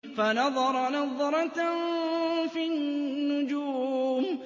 فَنَظَرَ نَظْرَةً فِي النُّجُومِ